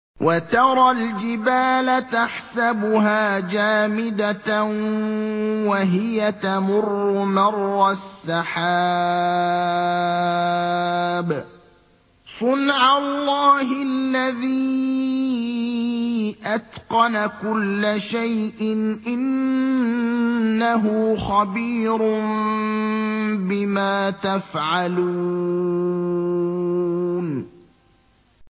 وَتَرَى الْجِبَالَ تَحْسَبُهَا جَامِدَةً وَهِيَ تَمُرُّ مَرَّ السَّحَابِ ۚ صُنْعَ اللَّهِ الَّذِي أَتْقَنَ كُلَّ شَيْءٍ ۚ إِنَّهُ خَبِيرٌ بِمَا تَفْعَلُونَ